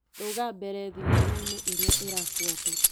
Rũga mbere thinema-inĩ ĩrĩa ĩrabuata .